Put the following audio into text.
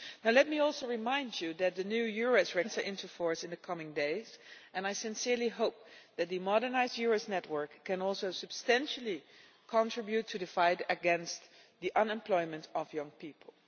Let me also remind you that the new EURES Regulation should enter into force in the coming days and I sincerely hope that the modernised EURES network can also substantially contribute to the fight against the unemployment of young people.